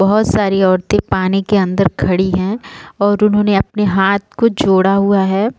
बहुत सारी औरतें पानी के अंदर खड़ी हैं और उन्होंने अपने हाथ को जोड़ा हुआ है।